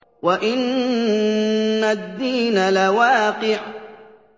وَإِنَّ الدِّينَ لَوَاقِعٌ